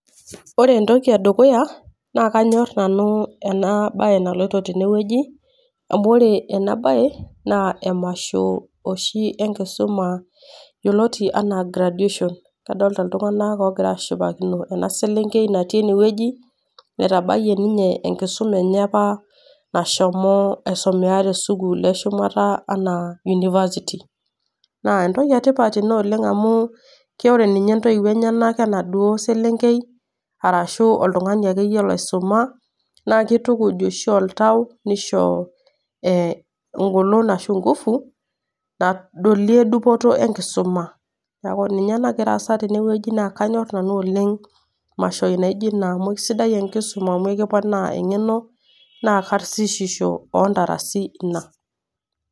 Ore entoki e dukuya naa kainyor nanu ena bae naloito tene wueji, amu ore ena bae naa emasho oshi enkisuma yioloti anaa graduation. Adolita iltung'ana ogira ashipakino ena selenkei natii ene wueji, nnaitabaiyie ninye enkisuma enye opaa nashomo aisumea te sukuul e ahumata anaa University. Naa entoki e tipat amu inaa amu ore ninye intoiwo enyenak ena duo selenkei arashu oltung'ani ake iyie oisuma naa keeitukuj eisho oltau engolon ashu inkufu nadolie dupoto e nkisuma. Neaku ninye nagira aasa tene wueji naa kainyor nanu oleng' mashoi naijo Kuna amu sidai enkisuma amu kiponaa eng'eno naa karsisisho o intarasi Ina.